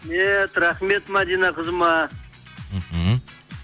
рахмет мадина қызыма мхм